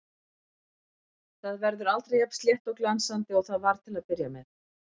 Það verður aldrei jafn slétt og glansandi og það var til að byrja með.